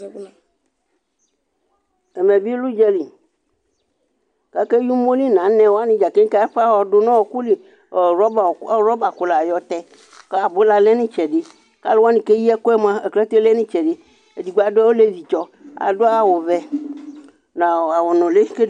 Ɛmɛ lɛ ʋdzǝli, kʋ akeyi umoli nʋ anɛ nɩ kʋ adʋ nʋ ɔɔkʋ li Ayɔ wrɔbakʋ yɔtɛ Abula lɛ nʋ ɩtsɛdɩ, aklate lɛ nʋ ɩtsɛdɩ Olevi dɩ adʋ awʋtsɔ ɔvɛ nʋ awʋnʋlɩ